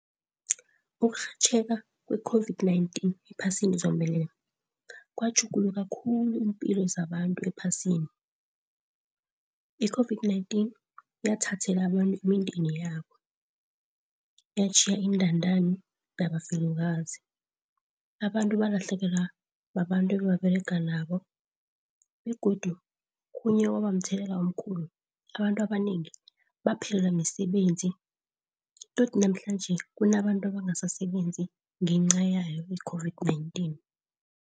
Ukurhatjheka kwe-COVID-19 ephasini zombelele, kwatjhuguluka khulu iimpilo zabantu ephasini. I-COVID-19 yathathela abantu imindeni yabo, yatjhiya iintandani nabafelokazi. Abantu balahlekelwa babantu ebebaberega nabo begodu khunye okwaba mthetho omkhulu abantu abanengi baphelelwe misebenzi todi namhlanje kunabantu abangasasebenzi ngenca yayo i-COVID-19.